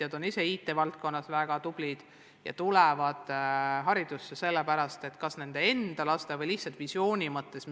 Nad on ise IT-valdkonnas väga tublid ja tulevad haridusse kas enda laste või lihtsalt missiooni pärast.